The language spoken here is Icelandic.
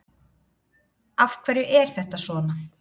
Af hverju er þetta svona?